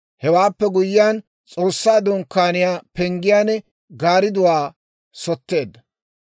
Hewaappe guyyiyaan S'oossaa Dunkkaaniyaa penggiyaan gaaridduwaa sotteedda.